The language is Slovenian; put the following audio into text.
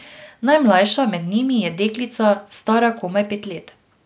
Najmlajša med njimi je deklica, stara komaj pet let.